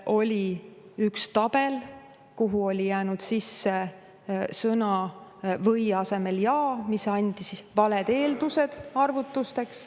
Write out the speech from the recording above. Oli üks tabel, kuhu oli sõna "või" asemel sattunud sõna "ja", mis andis valed eeldused arvutusteks.